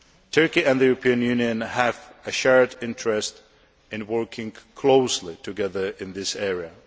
Turkey and the European Union have a shared interest in working closely together in this area.